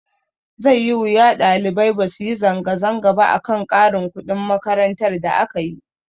Zai yi wuya ɗalibai basu yi zanga zanga ba akan ƙarin kuɗin makaranta da akayi.